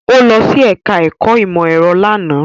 Ó lọ sí ẹ̀ká ẹ̀kọ́ ìmọ̀ ẹ̀rọ lánàá